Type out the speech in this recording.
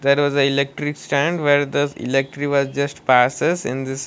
there was a electric stand where the electric wires just passes in this.